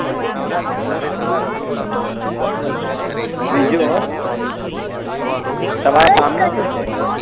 બીજું હ તમારે કામ નુ શું છે